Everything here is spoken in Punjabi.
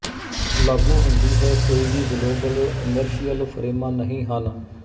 ਲਾਗੂ ਹੁੰਦੀ ਹੈ ਕੋਈ ਵੀ ਗਲੋਬਲ ਇਨਰਸ਼ੀਅਲ ਫਰੇਮਾਂ ਨਹੀਂ ਹਨ